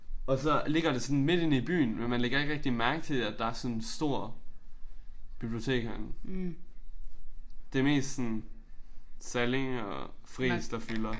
Og så ligger det sådan midt inde i byen men man lægger ikke rigtig mærkelig til at der er sådan en stor bibliotek herinde. Det mest sådan Salling og Friis der fylder